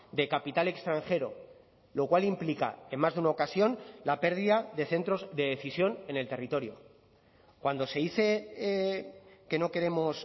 de capital extranjero lo cual implica en más de una ocasión la pérdida de centros de decisión en el territorio cuando se dice que no queremos